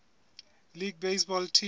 league baseball team